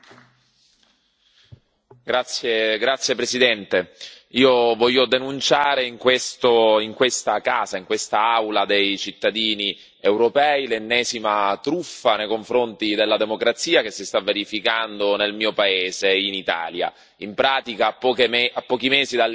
Signor Presidente, onorevoli colleghi, io voglio denunciare in questa casa, in questa Aula dei cittadini europei, l'ennesima truffa nei confronti della democrazia che si sta verificando nel mio paese, in Italia. In pratica, a pochi mesi dalle elezioni nazionali